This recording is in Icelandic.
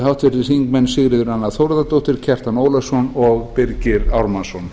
háttvirtir þingmenn sigríður a þórðardóttir kjartan ólafsson og birgir ármannsson